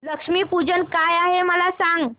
लक्ष्मी पूजन काय आहे मला सांग